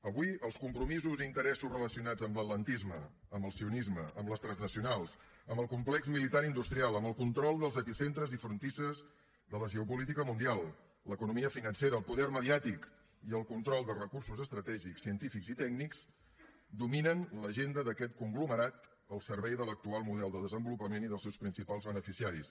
avui els compromisos i interessos relacionats amb l’atlantisme amb el sionisme amb les transnacionals amb el complex militar i industrial amb el control dels epicentres i frontisses de la geopolítica mundial l’economia financera el poder mediàtic i el control de recursos estratègics científics i tècnics dominen l’agenda d’aquest conglomerat al servei de l’actual model de desenvolupament i dels seus principals beneficiaris